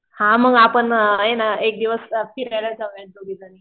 हा मग आपण आहे ना एक दिवस फिराय जाऊया दोघीजणी.